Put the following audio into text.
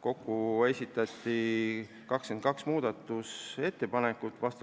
kokku esitati 22 ettepanekut.